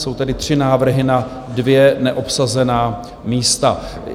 Jsou tedy tři návrhy na dvě neobsazená místa.